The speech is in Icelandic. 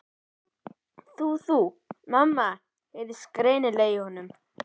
Þú. þú. mamma. heyrðist ógreinilega í honum.